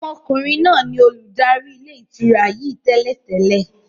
Ọmọkùnrin náà ni olùdarí ilé ìtura yìí tẹ́lẹ̀ tẹ́lẹ̀.